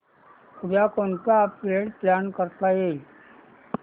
उद्या कोणतं upgrade plan करता येईल